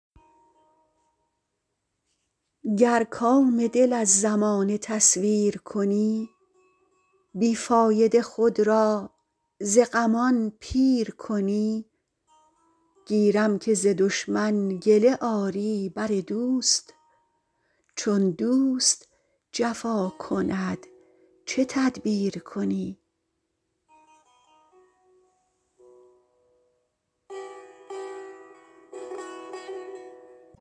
گر کام دل از زمانه تصویر کنی بی فایده خود را ز غمان پیر کنی گیرم که ز دشمن گله آری بر دوست چون دوست جفا کند چه تدبیر کنی